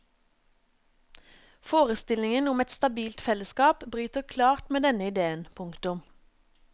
Forestillingen om et stabilt fellesskap bryter klart med denne ideen. punktum